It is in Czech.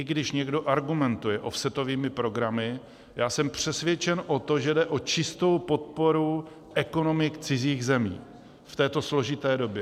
I když někdo argumentuje offsetovými programy, já jsem přesvědčen o tom, že jde o čistou podporu ekonomik cizích zemí v této složité době.